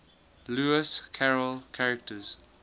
lewis carroll characters